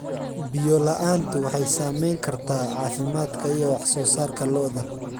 Biyo la'aantu waxay saamayn kartaa caafimaadka iyo wax soo saarka lo'da.